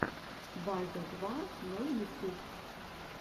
базя два ноль ютюб